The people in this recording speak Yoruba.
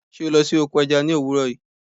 Sé o lo sí oko eja ni òwúrò yi?